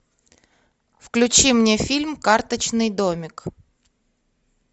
включи мне фильм карточный домик